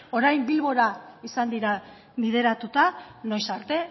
orain bilbora izan dira bideratuta noiz arte